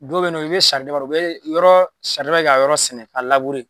Dɔw bɛ yen siridaba dɔn u bɛ yɔrɔ saridaba kɛ ka yɔrɔ sɛnɛ k'a labure